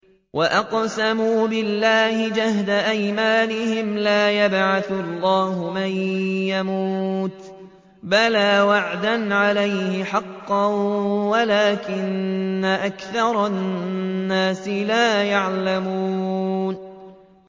وَأَقْسَمُوا بِاللَّهِ جَهْدَ أَيْمَانِهِمْ ۙ لَا يَبْعَثُ اللَّهُ مَن يَمُوتُ ۚ بَلَىٰ وَعْدًا عَلَيْهِ حَقًّا وَلَٰكِنَّ أَكْثَرَ النَّاسِ لَا يَعْلَمُونَ